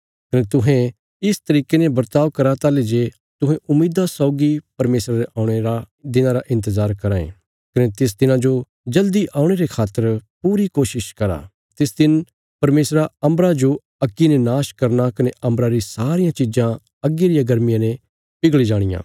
कने तुहें इस तरिके ने बर्ताव करा ताहली जे तुहें उम्मीदा सौगी परमेशरा रे औणे रे दिना रा इन्तजार कराँ ये कने तिस दिना जो जल्दी लौणे रे खातर पूरी कोशिश करा तिस दिन परमेशरा अम्बरा जो अग्गी ने नाश करना कने अम्बरा री सारियां चीजां अग्गी रिया गर्मिया ने पिघल़ी जाणियां